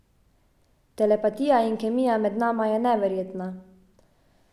Telepatija in kemija med nama je neverjetna.